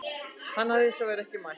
Hann hafi hins vegar ekki mætt